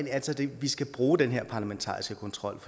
vi skal bruge den her parlamentariske kontrol